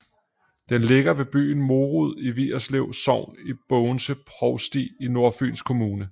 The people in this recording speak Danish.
Den ligger ved byen Morud i Vigerslev Sogn i Bogense Provsti i Nordfyns Kommune